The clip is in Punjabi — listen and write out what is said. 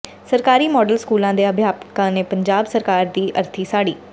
ਸਰਕਾਰੀ ਮਾਡਲ ਸਕੂਲਾਂ ਦੇ ਅਧਿਆਪਕਾਂ ਨੇ ਪੰਜਾਬ ਸਰਕਾਰ ਦੀ ਅਰਥੀ ਸਾੜੀ